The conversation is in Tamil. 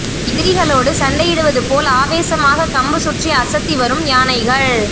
எதிரிகளோடு சண்டையிடுவது போல் ஆவேசமாக கம்பு சுற்றி அசத்தி வரும் யானைகள்